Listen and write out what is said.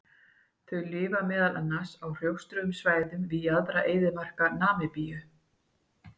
Þau lifa meðal annars á hrjóstrugum svæðum við jaðra eyðimarka Namibíu.